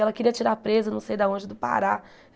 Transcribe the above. Ela queria tirar a presa, não sei de onde, do Pará.